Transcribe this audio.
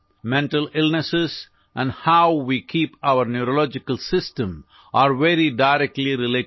Mental illnesses and how we keep our neurological system are very directly related